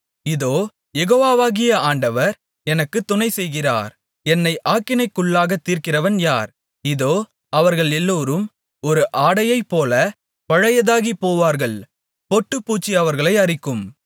இதோ யெகோவாவாகிய ஆண்டவர் எனக்குத் துணைசெய்கிறார் என்னை ஆக்கினைக்குள்ளாகத் தீர்க்கிறவன் யார் இதோ அவர்கள் எல்லோரும் ஒரு ஆடையைப்போலப் பழையதாகிப் போவார்கள் பொட்டுப்பூச்சி அவர்களை அரிக்கும்